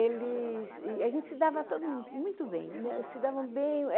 eles e a gente se dava todo mundo muito bem, n é